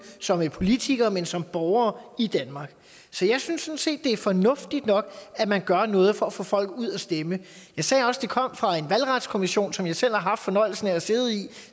som politikere men også som borgere i danmark så jeg synes set det er fornuftigt nok at man gør noget for at få folk ud og stemme jeg sagde også at det kom fra en valgretskommission som jeg selv har haft fornøjelsen af at sidde i